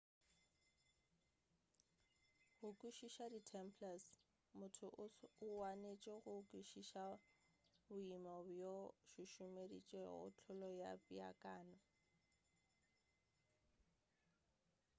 go kwešiša di templars motho o wanetše go kwešiša boemo bjo bo šušumeditšego hlolo ya peakanyo